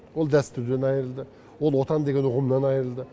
ол дәстүрден айырылды ол отан деген ұғымнан айырылды